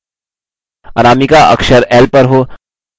अनामिका अक्षर l पर हो